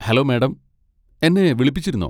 Hello madam, എന്നെ വിളിപ്പിച്ചിരുന്നോ?